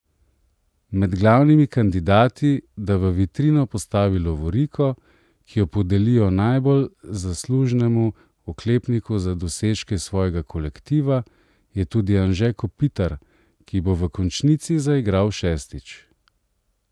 Med glavnimi kandidati, da v vitrino postavi lovoriko, ki jo podelijo najbolj zaslužnemu oklepniku za dosežke svojega kolektiva, je tudi Anže Kopitar, ki bo v končnici zaigral šestič.